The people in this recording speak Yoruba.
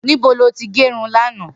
Nibó ló ti gẹrún làná?